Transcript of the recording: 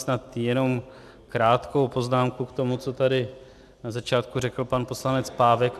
Snad jenom krátkou poznámku k tomu, co tady na začátku řekl pan poslanec Pávek.